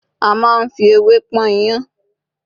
a ma n fi ewé pọn iyán